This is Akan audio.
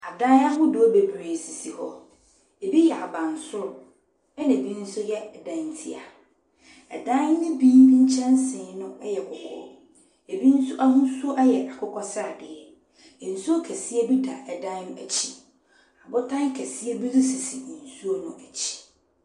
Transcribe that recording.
Adan ahodoɔ bebree sisi hɔ. Ɛbi yɛ abansoro, ɛna ɛbi nso yɛ dantia. Dan no bi nkyɛnsee no yɛ kɔkɔɔ, ɛbi nso ahosuo yɛ akokɔsradeɛ. Nsuo kɛseɛ bi da dan no akyi. Abotan kɛseɛ bi nso sisi nsuo no akyi.